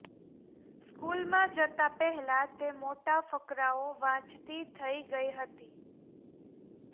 સ્કૂલમાં જતાં પહેલાં તે મોટા ફકરાઓ વાંચતી થઈ ગઈ હતી